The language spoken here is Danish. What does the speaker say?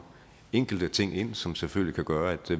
enkelte ting ind som selvfølgelig kan gøre at